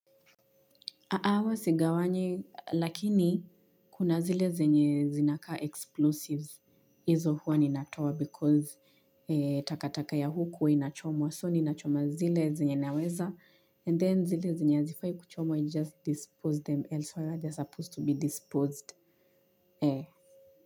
Hapana, wasigawanye lakini kuna zile zenye zinakaa explosives, izo huwa ninatoa because takataka ya huku huwa inachomwa so ninachoma zile zenye naweza and then zile zenye zifai kuchomwa you just dispose them elsewhere they are supposed to be disposed.